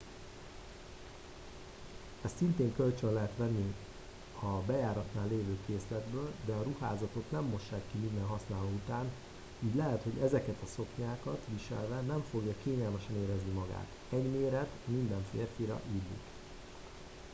ezt szintén kölcsön lehet venni a bejáratnál lévő készletből de a ruházatot nem mossák ki minden használó után így lehet hogy ezeket a szoknyákat viselve nem fogja kényelmesen érezni magát egy méret minden férfira illik